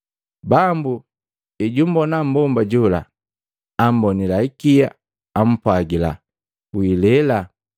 Bambu ejumbona mmbomba jola, ambonila ikia, ampwagila, “Wilela.”